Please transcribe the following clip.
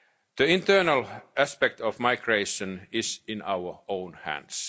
policy. The internal aspect of migration is in our